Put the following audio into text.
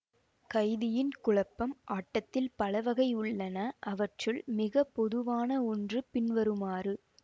கைதியின் குழப்பம் ஆட்டத்தில் பல வகைகள் உள்ளன அவற்றுள் மிகப்பொதுவான ஒன்று பின்வருமாறு